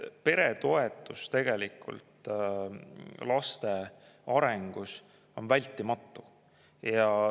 Pere toetus laste arengus on vältimatu.